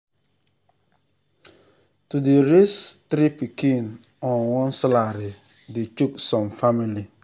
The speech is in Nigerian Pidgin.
to dey raise three pikin on one salary dey one salary dey choke some family.